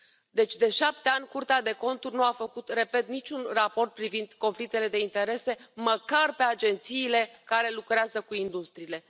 Deci, de șapte ani, Curtea de Conturi nu a făcut, repet, niciun raport privind conflictele de interese, măcar pe agențiile care lucrează cu industriile.